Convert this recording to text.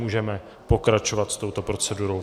Můžeme pokračovat s touto procedurou.